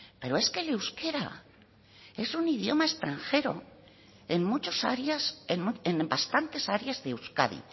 pero es que el euskera es un idioma extranjero en muchas áreas en bastantes áreas de euskadi